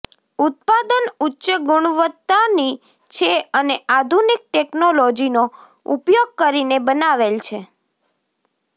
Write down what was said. ઉત્પાદન ઉચ્ચ ગુણવત્તાની છે અને આધુનિક ટેકનોલોજીનો ઉપયોગ કરીને બનાવેલ છે